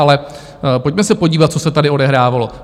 Ale pojďme se podívat, co se tady odehrávalo.